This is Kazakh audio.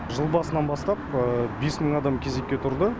жыл басынан бастап бес мың адам кезекке тұрды